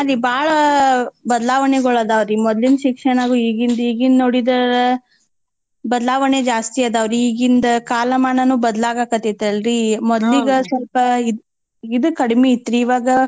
ಹಾ ರೀ ಬಾಳ ಬದ್ಲಾವಣೆಗಳ್ ಅದಾವ್ರೀ ಮೊದ್ಲಿನ್ ಶಿಕ್ಷಣಗೂ ಈಗಿಂದ್ ಈಗಿಂದ್ ನೋಡಿದ ಬದ್ಲಾವಣೆ ಜಾಸ್ತಿ ಅದವ್ ರೀ ಈಗಿಂದ ಕಾಲ್ಮಾನಾನೂ ಬದ್ಲಾಗಕತ್ತತಲ್ರಿ ಮೊದ್ಲೀಗ್ ಸ್ವಲ್ಪ ಇದ್ ಇದ್ ಕಡ್ಮೀ ಇತ್ತ್ರೀ.